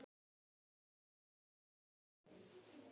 Svona er þetta glæpahyski.